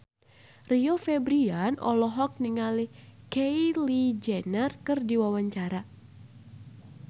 Rio Febrian olohok ningali Kylie Jenner keur diwawancara